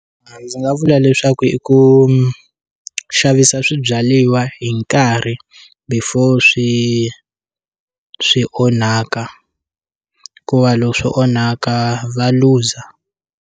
A ndzi nga vula leswaku i ku xavisa swibyaliwa hi nkarhi before swi swi onhaka hikuva loko swo onhaka va looser.